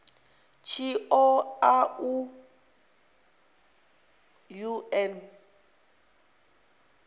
tshi ṱo ḓa u ṱun